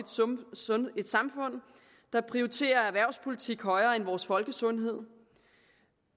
et samfund der prioriterer erhvervspolitik højere end vores folkesundhed